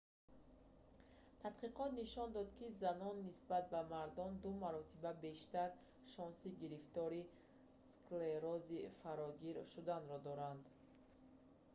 тадқиқот нишон дод ки занон нисбат ба мардон ду маротиба бештар шонси гирифтори сф склерози фарогир шуданро доранд